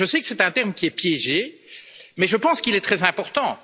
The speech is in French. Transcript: Je sais que c'est un thème qui est piégé mais je pense qu'il est très important.